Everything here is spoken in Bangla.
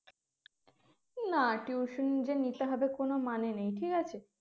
না tuition ই যে নিতে হবে কোনো মানে নেই ঠিক আছে